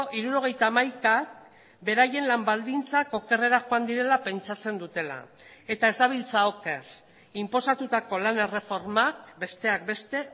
hirurogeita hamaika beraien lan baldintzak okerrera joan direla pentsatzen dutela eta ez dabiltza oker inposatutako lan erreformak besteak beste